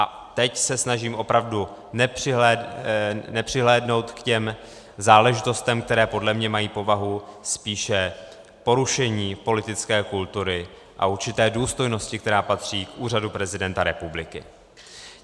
A teď se snažím opravdu nepřihlédnout k těm záležitostem, které podle mne mají povahu spíše porušení politické kultury a určité důstojnosti, která patří k úřadu prezidenta republiky.